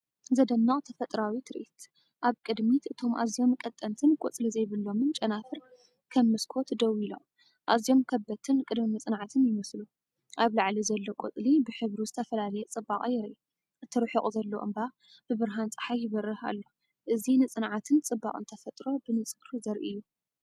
ዘደንቕ ተፈጥሮኣዊ ትርኢት! ኣብ ቅድሚት፡እቶም ኣዝዮም ቀጠንቲን ቆጽሊ ዘይብሎምን ጨናፍር ከም መስኮት ደውኢሎም፡ኣዝዮም ከበድትን ቅድመ-መጽናዕትን ይመስሉ። ኣብ ላዕሊ ዘሎ ቆጽሊ ብሕብሩ ዝተፈላለየ ጽባቐ የርኢ፣ እቲ ርሑቕ ዘሎ እምባ ብብርሃን ጸሓይ ይበርህ ኣሎ። እዚ ንጽንዓትን ጽባቐን ተፈጥሮ ብንጹር ዘርኢ እዩ።